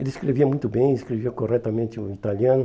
Ele escrevia muito bem, escrevia corretamente o italiano.